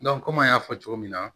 kɔmi an y'a fɔ cogo min na